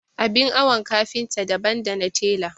Abin awon kafinta daban dana tela.